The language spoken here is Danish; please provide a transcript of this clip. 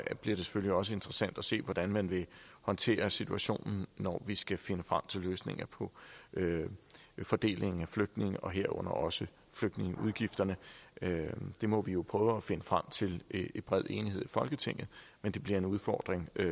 det selvfølgelig også interessant at se hvordan man vil håndtere situationen når vi skal finde frem til løsninger på fordelingen af flygtninge og herunder også flygtningeudgifterne det må vi jo prøve at finde frem til i bred enighed i folketinget men det bliver en udfordring